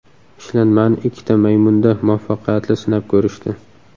Ishlanmani ikkita maymunda muvaffaqiyatli sinab ko‘rishdi.